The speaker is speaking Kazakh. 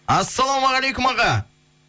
ассалаумағалейкум аға